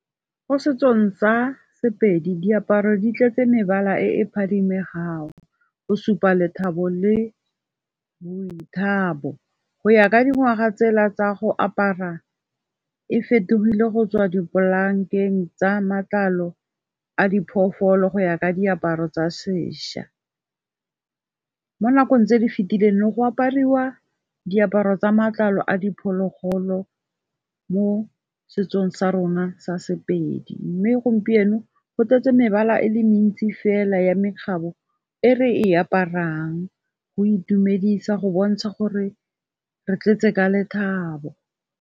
Mo setsong sa sepedi diaparo di tletse mebala e phadimegang go supa lethabo le boithabo, go ya ka dingwaga tsela tsa go apara e fetogile go tswa dipalankeng tsa matlalo a diphofolo go ya ka diaparo tsa seša. Mo nakong tse di fetileng ne go apariwa diaparo tsa matlalo a diphologolo mo setsong sa rona sa Sepedi, mme gompieno go tletse mebala e le mentsi fela ya mekgatlho e re e aparang go itumedisa go bontsha gore re tletse ka lethabo.